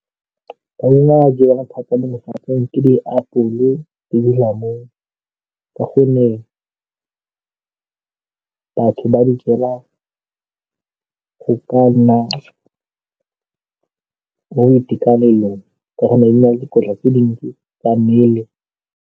Maungo a jewang thata mo lefatsheng ke diapole le dilamunu ka gonne batho ba di jela go ka nna mo boitekanelong ka gonne di na le dikotla tse dintsi tsa mmele.